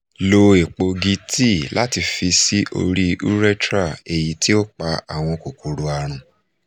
lo epo egi tea lati fi si ori urethra eyiti o pa awọn kokoro arun